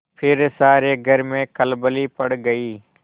फिर सारे घर में खलबली पड़ गयी